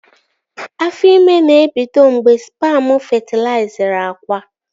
Afọ ime na-ebido mgbe spamu fetilaizịrị akwa